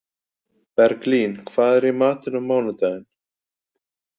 Berglín, hvað er í matinn á mánudaginn?